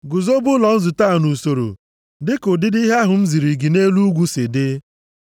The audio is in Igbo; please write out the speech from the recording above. “Guzobe ụlọ nzute a nʼusoro dịka ụdịdị ihe ahụ m ziri gị nʼelu ugwu si dị.